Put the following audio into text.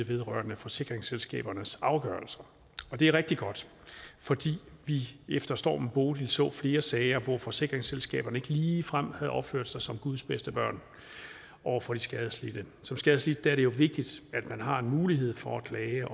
vedrørende forsikringsselskabernes afgørelser og det er rigtig godt fordi vi efter stormen bodil så flere sager hvor forsikringsselskaberne ikke ligefrem havde opført sig som guds bedste børn over for de skadelidte som skadelidt er det jo vigtigt at man har en mulighed for at klage